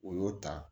O y'o ta